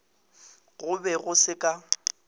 go be go se ka